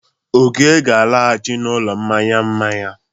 Oke ga-alaghachi n'ụlọ mmanya mmanya.